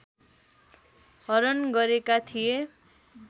हरण गरेका थिए